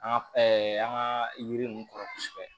An ka an ka yiri ninnu kɔrɔ kosɛbɛ